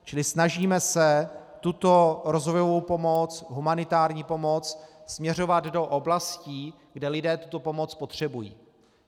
Čili snažíme se tuto rozvojovou pomoc, humanitární pomoc, směřovat do oblastí, kde lidé tuto pomoc potřebují.